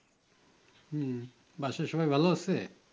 হম বাসার সবাই ভালো আছে